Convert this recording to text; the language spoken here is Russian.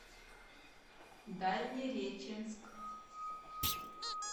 дальнереченск